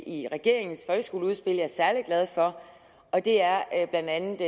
i regeringens folkeskoleudspil jeg er særlig glad for og det er blandt andet